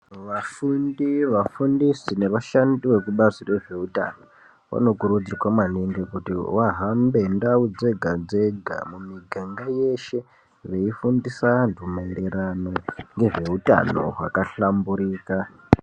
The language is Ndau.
Vafundi, vafundisi nevashandi vekubazi rezveutano vanokurudzirwa maningi kuti vahambe ndau dzega dzega munyika mweshe veifundisa antu maererano nezveutano hwakahlamburika.